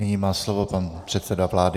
Nyní má slovo pan předseda vlády.